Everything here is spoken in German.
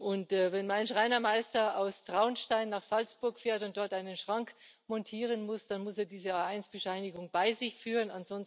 Und wenn mein Schreinermeister aus Traunstein nach Salzburg fährt und dort einen Schrank montieren muss, muss er diese A1 Bescheinigung bei sich führen.